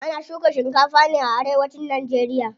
Ana shuka shikafa ne a arewacin nageriya.